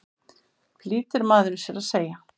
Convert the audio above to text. flýtir maðurinn sér að segja.